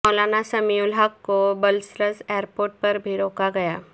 مولانا سمیع الحق کو Brussels airport پر بھی روکا گیا